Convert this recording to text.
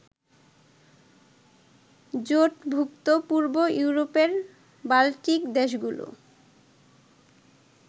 জোটভুক্ত পূর্ব ইউরোপের বাল্টিক দেশগুলোর